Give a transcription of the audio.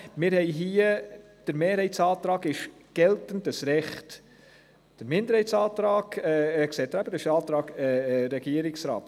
Der Mehrheitsantrag will das geltende Recht, der Minderheitsantrag betrifft den Antrag des Regierungsrats.